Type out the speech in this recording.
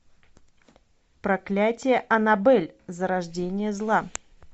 проклятье анабель зарождение зла